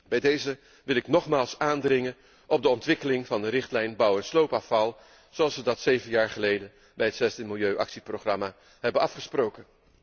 Bij deze wil ik nogmaals aandringen op de ontwikkeling van de richtlijn bouw en sloopafval zoals we dat zeven jaar geleden bij het zesde milieuactieprogramma hebben afgesproken.